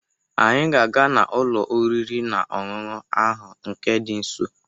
Anyị ga-aga n'ụlọ oriri na ọṅụṅụ ahụ nke dị nso